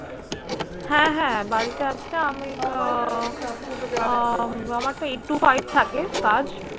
হ্যাঁ হ্যাঁ বাড়িতে আছি আমি আহ আহ আমার তো eight to five থাকে কাজ।